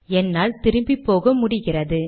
என்னால் திரும்பிப்போக முடிகிறது